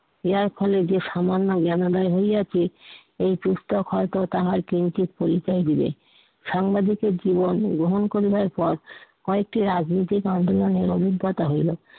এ এখনো যে, সামান্য জ্ঞানালয় হইয়াছি এ পুস্তক হয়তো তাহার কিঞ্চিত পরিচয় দিলেন, সাংবাদিকের জীবন গ্রহণ করিবার পর কয়েকটি রাজনীতিক আন্দোলনের অভিজ্ঞতা হইলো।